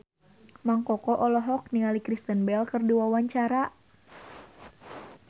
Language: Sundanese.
Mang Koko olohok ningali Kristen Bell keur diwawancara